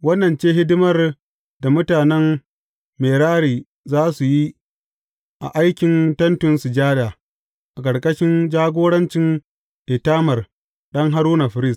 Wannan ce hidimar da mutanen Merari za su yi a aikin Tentin Sujada, a ƙarƙashin jagorancin Itamar ɗan Haruna, firist.